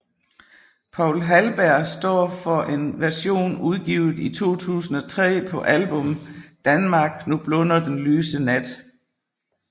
Poul Halberg står for en version udgivet i 2003 på album Danmark nu blunder den lyse nat